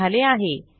हे झाले आहे